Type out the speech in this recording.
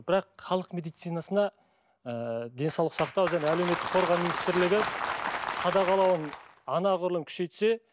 бірақ халық медицинасына ы денсаулық сақтау және әлеуметтік қорғау министрлігі қадағалауын анағұрлым күшейтсе